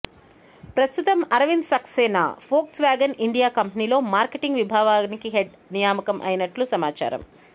ప్రస్తుతం Arvind Saxena Volkswagen India కంపెనీలో marketing విభాగాని హెడ్ నియామకం అయినట్లు సమాచారం